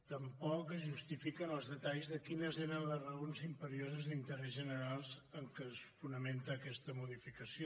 tampoc es justifiquen els detalls de quines eren les raons imperioses d’interès general en què es fonamenta aquesta modificació